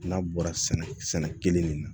N'a bɔra sɛnɛ kelen de la